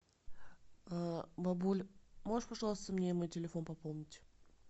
бабуль можешь пожалуйста мне мой телефон пополнить